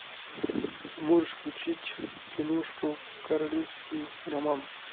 можешь включить киношку королевский роман